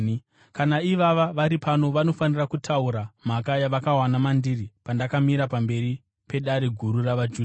Kana ivava vari pano vanofanira kutaura mhaka yavakawana mandiri pandakamira pamberi peDare Guru ravaJudha,